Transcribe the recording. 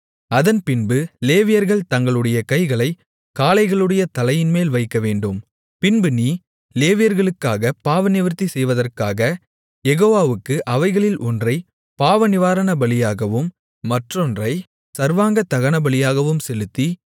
அதன்பின்பு லேவியர்கள் தங்களுடைய கைகளைக் காளைகளுடைய தலையின்மேல் வைக்கவேண்டும் பின்பு நீ லேவியர்களுக்காகப் பாவநிவிர்த்தி செய்வதற்காக யெகோவாவுக்கு அவைகளில் ஒன்றைப் பாவநிவாரணபலியாகவும் மற்றொன்றைச் சர்வாங்கதகனபலியாகவும் செலுத்தி